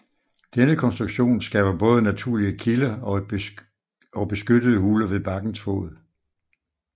Denne konstruktion skaber både naturlige kilder og beskyttede huler ved bakkens fod